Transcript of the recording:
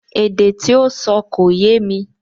Èdè tí ó sọ kò yémi